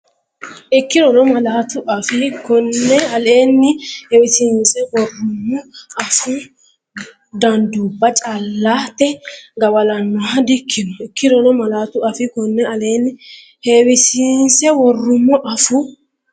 Ikkirono malaatu afii konne aleenni heewisiinse worrummo afuu danduubba callate gawa’lannoha dikkino Ikkirono malaatu afii konne aleenni heewisiinse worrummo afuu.